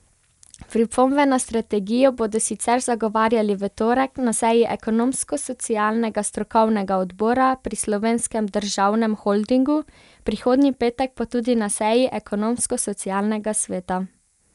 Pripombe na strategijo bodo sicer zagovarjali v torek na seji ekonomsko socialnega strokovnega odbora pri Slovenskem državnem holdingu, prihodnji petek pa tudi na seji Ekonomsko socialnega sveta.